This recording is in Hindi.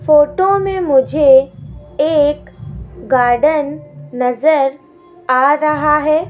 फोटो मे मुझे एक गार्डन नज़र आ रहा है।